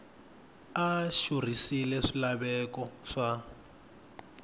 a a xurhisile swilaveko swa